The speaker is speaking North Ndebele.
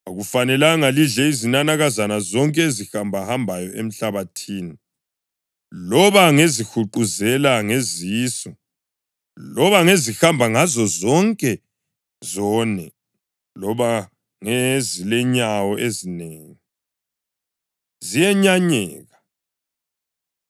Akufanelanga lidle izinanakazana zonke ezihambahambayo emhlabathini, loba ngezihuquzela ngezisu loba ngezihamba ngazozonke zone loba ngezilenyawo ezinengi; ziyenyanyeka.